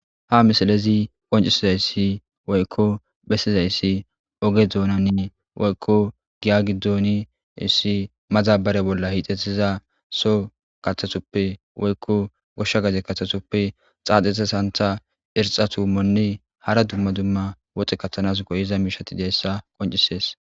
Ha misilezi qoncissizayssi woyko bessizaysi ogethonani woyko giya giddon issi maddabara bolla hixxetida soho woyko kaththa sohoppe woyko osha gade kaththasope xaxetida santha irxxa tummonne hara dumma dumma woxxe kaththanas go'iza mishata qonccisses.